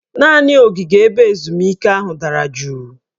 Naanị ogige ebe ezumike ahụ dara juu